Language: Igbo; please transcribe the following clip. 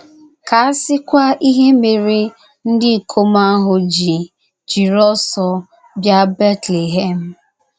Ka a sịkwa ihe mere ndị ikom ahụ ji jiri ọsọ bịa Betlehem!